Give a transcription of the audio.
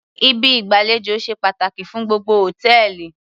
Ibi ìgbàlejò ṣe pàtàkì fún gbogbo hòtẹ́ẹ̀lì